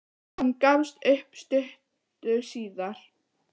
Hann gafst upp stuttu síðar.